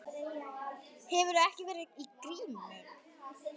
Hefurðu ekki verið í gírnum?